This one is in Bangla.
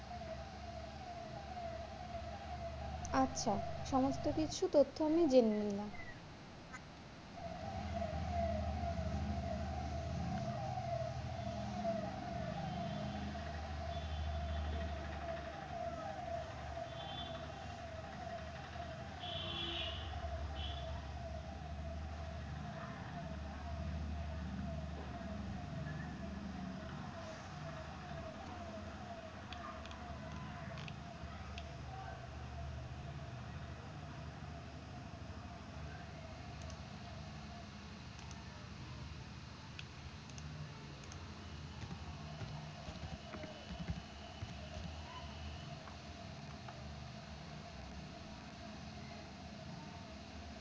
আচ্ছা সমস্থ কিছু তথ্য আমি জেনে নিলাম